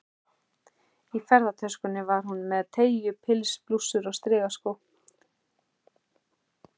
Í ferðatöskunni var hún með teygju- pils, blússur og strigaskó.